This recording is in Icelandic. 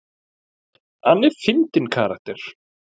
Hann er fyndinn karakter.